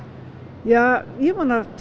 ja ég vona tvö